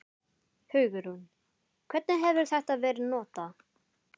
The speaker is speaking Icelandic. Hugrún: Hvernig hefur þetta verið notað?